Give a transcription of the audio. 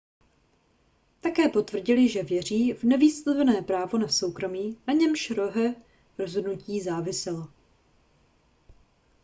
také potvrdil že věří v nevyslovené právo na soukromí na němž roeho rozhodnutí záviselo